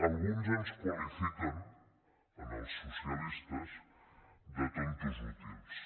alguns ens qualifiquen als socialistes de tontos útils